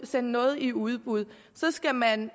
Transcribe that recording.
sende noget i udbud så skal man